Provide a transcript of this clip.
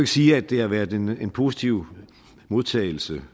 sige at det har været en positiv modtagelse